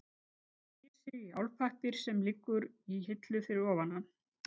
Teygir sig í álpappír sem liggur í hillu fyrir ofan hann.